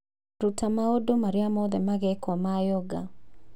Ruta maũndũ marĩa mothe magekwo ma yoga